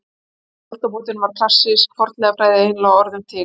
Fyrir aldamótin var klassísk fornleifafræði eiginlega orðin til.